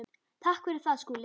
Takk fyrir það, Skúli.